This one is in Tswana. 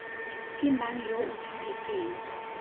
ke mang yo o tshwanetseng